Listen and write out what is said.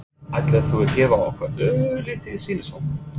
Ætlar þú að gefa okkur örlítið sýnishorn?